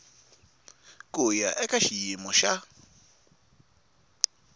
ku ya eka xiyimo xa